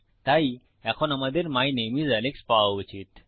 তাই এখন আমাদের মাই নামে আইএস আলেক্স পাওয়া উচিত